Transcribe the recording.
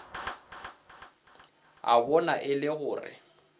a bona e le gore